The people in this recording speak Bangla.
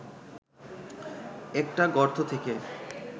একটা গর্ত থেকে